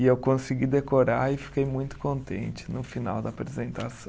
E eu consegui decorar e fiquei muito contente no final da apresentação.